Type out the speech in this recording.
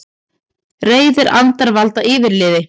Reiðir andar valda yfirliði